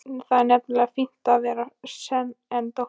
Það er nefnilega fínna að vera sen en dóttir.